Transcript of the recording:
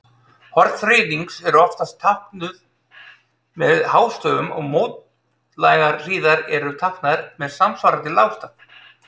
Horn þríhyrnings eru oftast táknuð með hástöfum og mótlægar hliðar eru táknaðar með samsvarandi lágstaf.